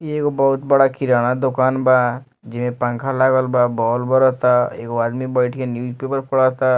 ई एगो बहुत बड़ा किराना दुकान बा जेमें पंखा लगल बा बॉल बरता एगो आदमी बैठ के न्यूज़पेपर पढ़ता --